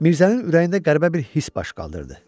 Mirzənin ürəyində qəribə bir hiss baş qaldırdı.